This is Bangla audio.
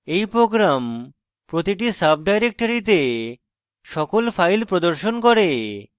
এই program প্রতিটি সাবডাইরেক্টরীতে সকল files প্রদর্শন করে